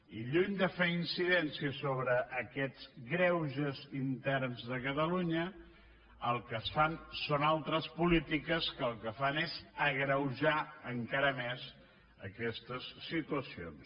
i lluny de fer incidència sobre aquests greuges interns de catalunya el que es fa són altres polítiques que el que fan és agreujar encara més aquestes situacions